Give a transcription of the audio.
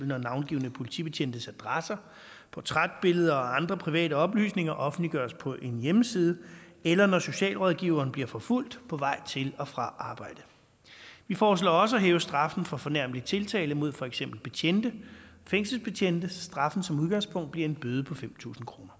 når navngivne politibetjentes adresser portrætbilleder og andre private oplysninger offentliggøres på en hjemmeside eller når socialrådgiveren bliver forfulgt på vej til og fra arbejde vi foreslår også at hæve straffen for fornærmelig tiltale mod for eksempel betjente fængselsbetjente straffen bliver som udgangspunkt en bøde på fem tusind kroner